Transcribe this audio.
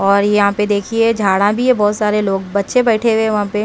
और यहां पे देखिए झाड़ा भी है बहुत सारे लोग बच्चे बैठे हुए वहां पे।